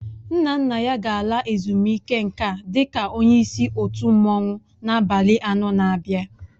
Nna nna ya ga-ala ezumike nká dị ka onye isi otu mmanwụ na abalị anọ n'abia.